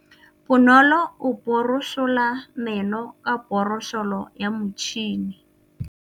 Bonolô o borosola meno ka borosolo ya motšhine.